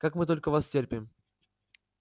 как мы только вас терпим